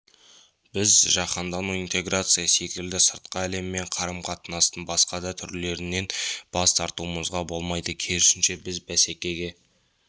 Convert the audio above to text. біз жаһандану интеграция секілді сыртқы әлеммен қарым-қатынастың басқа да түрлерінен бас тартуымызға болмайды керісінше біз бәсекеге